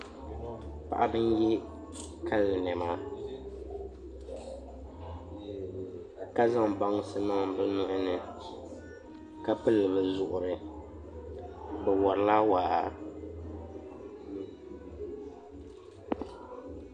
Paɣaba n yɛ kali niɛma ka zaŋ bansi niŋ bi nuhuni ka pili bi zuɣuri bi worila waa